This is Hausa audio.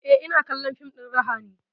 Eh, ina kallon fim ɗin raha ne